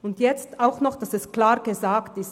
Damit es klar gesagt ist: